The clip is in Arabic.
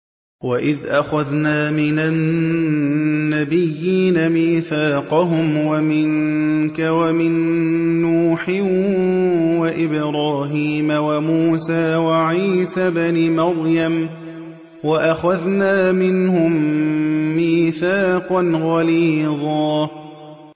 وَإِذْ أَخَذْنَا مِنَ النَّبِيِّينَ مِيثَاقَهُمْ وَمِنكَ وَمِن نُّوحٍ وَإِبْرَاهِيمَ وَمُوسَىٰ وَعِيسَى ابْنِ مَرْيَمَ ۖ وَأَخَذْنَا مِنْهُم مِّيثَاقًا غَلِيظًا